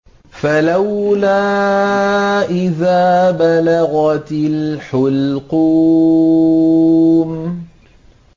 فَلَوْلَا إِذَا بَلَغَتِ الْحُلْقُومَ